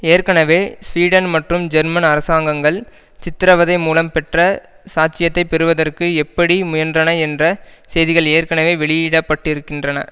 ஏற்கனவே ஸ்வீடன் மற்றும் ஜெர்மன் அரசாங்கங்கள் சித்திரவதை மூலம் பெற்ற சாட்சியத்தை பெறுவதற்கு எப்படி முயன்றன என்ற செய்திகள் ஏற்கனவே வெளியிடப்பட்டிருக்கின்றன